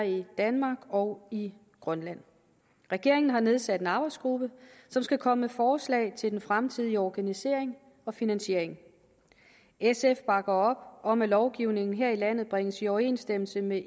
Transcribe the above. i danmark og i grønland regeringen har nedsat en arbejdsgruppe som skal komme med forslag til den fremtidige organisering og finansiering sf bakker op om at lovgivningen her i landet bringes i overensstemmelse med